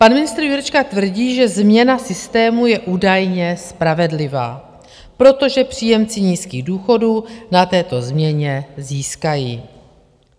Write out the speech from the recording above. Pan ministr Jurečka tvrdí, že změna systému je údajně spravedlivá, protože příjemci nízkých důchodů na této změně získají.